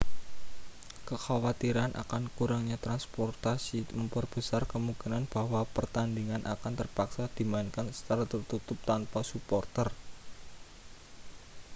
kekhawatiran akan kurangnya transportasi memperbesar kemungkinan bahwa pertandingan akan terpaksa dimainkan secara tertutup tanpa suporter